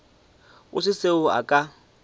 go se seo a ka